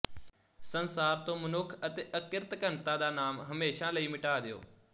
ਸੰਸਾਰ ਤੋਂ ਮਨੁੱਖ ਅਤੇ ਅਕਿਰਤਘਣਤਾ ਦਾ ਨਾਮ ਹਮੇਸ਼ਾ ਲਈ ਮਿਟਾ ਦਿਓ